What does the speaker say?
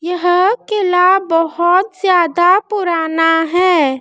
यह कीला बहोत ज्यादा पुराना है।